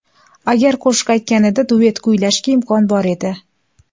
Agar qo‘shiq aytganida, duet kuylashga imkon bor edi.